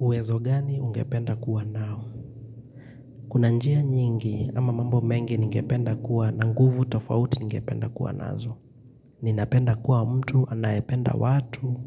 Uwezo gani ungependa kuwa nao? Kuna njia nyingi ama mambo mengi ningependa kuwa na nguvu tofauti ningependa kuwa nazo. Ninapenda kuwa mtu, anayependa watu,